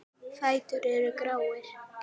Fætur eru gráir.